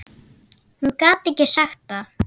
Hún gat ekki sagt það.